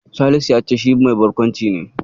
Salisu ya ce shi mai barkwanci ne.